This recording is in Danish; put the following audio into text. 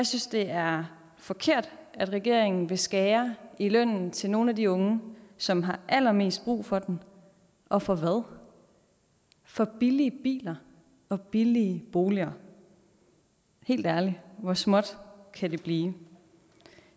synes det er forkert at regeringen vil skære i lønnen til nogle af de unge som har allermest brug for den og for hvad for billige biler og billige boliger helt ærligt hvor småt kan det blive